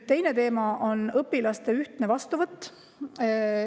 Teine teema on õpilaste ühtne vastuvõtt.